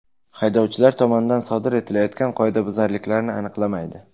Haydovchilar tomonidan sodir etilayotgan qoidabuzarliklarni aniqlamaydi.